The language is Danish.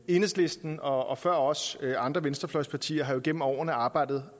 enhedslisten og før os andre venstrefløjspartier har jo gennem årene arbejdet